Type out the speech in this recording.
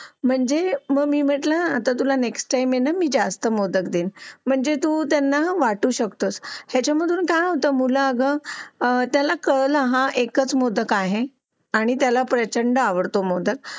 म्हणजे मी म्हटलं तुला नेक्स्ट टाईम ना जास्त मोदक देत म्हणजे तू त्यांना वाटू शकतोस ह्याच्यामधून काय होतं त्यांना कळलं हा एकच मोदक आहे आणि प्रचंड आवडतो मोदक